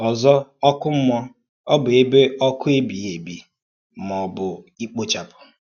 Ọ̀zọ̀, ọ́kụ́ mmúọ̀ ọ bụ́ ẹ̀bè ọ́kụ̀ ébìghì èbì má ọ bụ́ íkpòchàpụ̀?